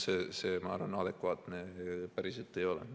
See, ma arvan, adekvaatne päriselt ei ole.